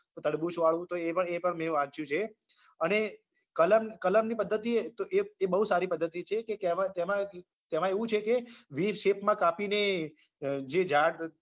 તડબૂચ વાળું તો એ પણ એ પણ મેં વાંચ્યું છે અને કલમની કલમની પદ્ધતિ એ તો એ બોઉં સારી પદ્ધતિ છે કે તેમાં તેમાં તેમાં એવું છે કે Vshape માં કાપીને જે ઝાડ